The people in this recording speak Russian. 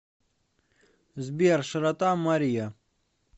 сбер широта мориа